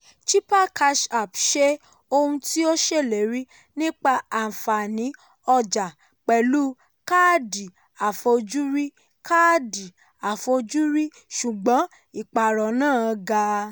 chipper cash ṣe ohun tí ó ṣèlérí nípa àfààní ọjà pẹ̀lú káàdì àfojúrí káàdì àfojúrí ṣùgbọ́n ìpààrọ̀ náà ga.